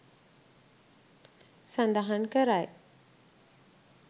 සඳහන් කරයි.